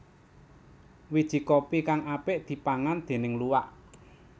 Wiji kopi kang apik dipangan déning luwak